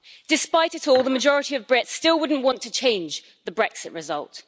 Despite it all, the majority of Brits still wouldn't want to change the Brexit result.